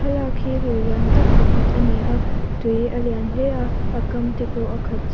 thlalak hi lui lian tak pakhat a ni a tui a lian hle a a kam te pawh a khat chh--